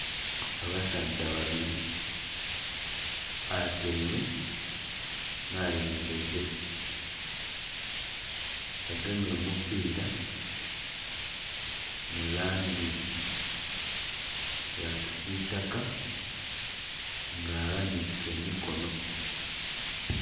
Abasaadha babiri atyaime n'ayemereire agemye omupira mulangi ya kisitaka nga aghanike emikono.